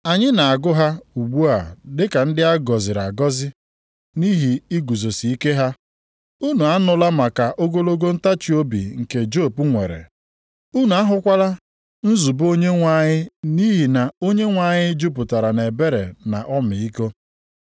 Anyị na-agụ ha ugbu a dịka ndị a gọziri agọzi nʼihi iguzosike ha. Unu anụla maka ogologo ntachiobi nke Job nwere, unu ahụkwala nzube Onyenwe anyị nʼihi na Onyenwe anyị jupụtara nʼebere na ọmịiko.